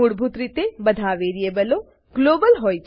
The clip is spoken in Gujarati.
મૂળભૂત રીતે બધા વેરીબલો ગ્લોબલ